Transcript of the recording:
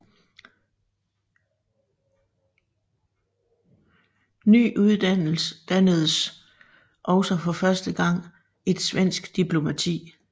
Nu uddannedes også for første gang et svensk diplomati